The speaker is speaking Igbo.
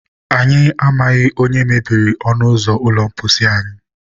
Anyị amaghị onye mebiri ọnụ ụzọ ụlọ mposi anyị